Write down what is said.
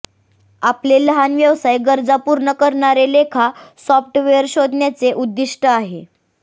आपले लहान व्यवसाय गरजा पूर्ण करणारे लेखा सॉफ्टवेअर शोधण्याचे उद्दिष्ट आहे